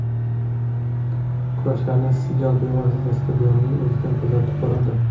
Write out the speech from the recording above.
Kurashlarni Sigal bevosita stadionning o‘zidan kuzatib boradi.